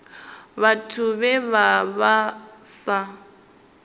vhathu vhe vha vha sa